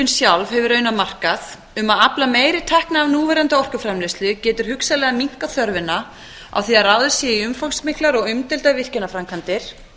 sjálf hefur raunar markað um að afla meiri tekna af núverandi orkuframleiðslu getur hugsanlega minnkað þörfina á því að ráðist sé í umfangsmiklar og umdeildar virkjanaframkvæmdir